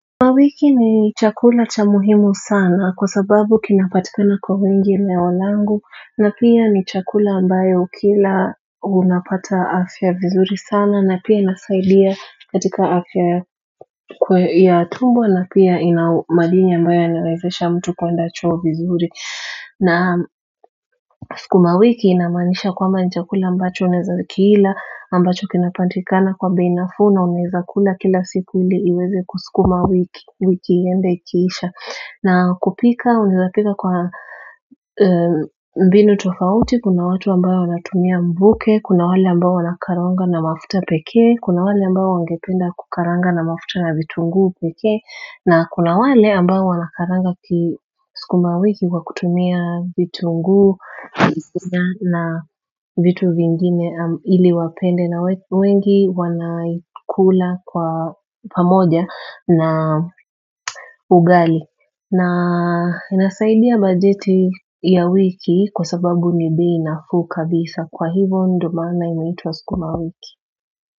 Mawiki ni chakula cha muhimu sana kwa sababu kinapatikana kwa wengi eneo langu na pia ni chakula ambayo ukila unapata afya vizuri sana na pia inasaidia katika afya ya tumbo na pia inamadini ambayo yanawezesha mtu kwenda choo vizuri na sukuma wiki inamaanisha kwamba ni chakula ambacho unaeza kiila ambacho kinapatikana kwa bei nafuu na unaeza kula kila siku ili iweze kusukuma wiki wiki iende ikiisha na kupika unaezapika kwa mbinu tofauti kuna watu ambao wanatumia mvuke kuna wale ambao wanakaranga na mafuta pekee kuna wale ambayo wangependa kukaranga na mafuta na vitunguu pekee na kuna wale ambao wanakaranga kisukuma wiki kwa kutumia vitunguu na vitu vingine iliwapende na wengi wanaikula kwa pamoja na ugali na inasaidia bajeti ya wiki kwa sababu ni bei nafuu kabisa kwa hivyo ndo maana inaitwa sukuma wiki.